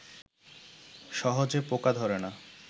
সহজে পোকা ধরে না